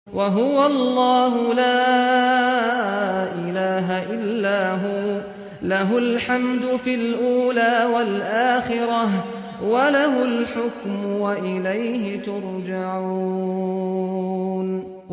وَهُوَ اللَّهُ لَا إِلَٰهَ إِلَّا هُوَ ۖ لَهُ الْحَمْدُ فِي الْأُولَىٰ وَالْآخِرَةِ ۖ وَلَهُ الْحُكْمُ وَإِلَيْهِ تُرْجَعُونَ